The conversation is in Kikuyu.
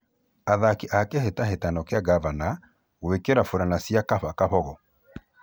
Athaki a kĩhĩtahĩtano kĩa ngavana gũĩkĩra burana cĩa 'Kaba Kabogo'.